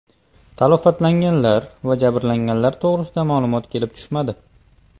Talafotlar va jabrlanganlar to‘g‘risida ma’lumot kelib tushmadi.